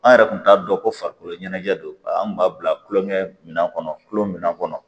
An yɛrɛ kun t'a dɔn ko farikolo ɲɛnajɛ don an kun b'a bila kulonkɛ minan kɔnɔ kulon minɛn kɔnɔ